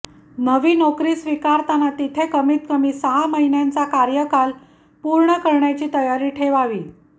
नवी नोकरी स्वीकारताना तिथे कमीत कमी सहा महिन्यांचा कार्यकाल पूर्ण करण्याची तयारी ठेवावी